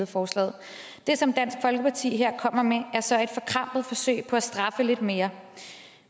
forslaget det som dansk folkeparti her kommer med er så et forkrampet forsøg på at straffe lidt mere